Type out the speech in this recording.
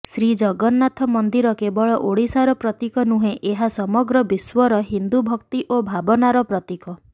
ଶ୍ରୀଜଗନ୍ନାଥ ମନ୍ଦିର କେବଳ ଓଡ଼ିଶାର ପ୍ରତୀକ ନୁହେଁ ଏହା ସମଗ୍ର ବିଶ୍ୱର ହିନ୍ଦୁ ଭକ୍ତି ଓ ଭାବନାର ପ୍ରତୀକ